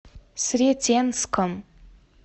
сретенском